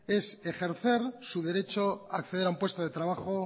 es ejercer su derecho a acceder a un puesto de trabajo